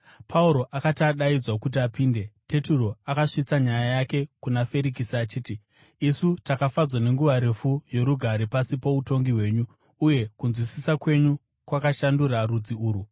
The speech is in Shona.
Pauro akati adaidzwa kuti apinde, Teturo akasvitsa nyaya yake kuna Ferikisi achiti, “Isu takafadzwa nenguva refu yorugare pasi poutongi hwenyu, uye kunzwisisa kwenyu kwakashandura rudzi urwu.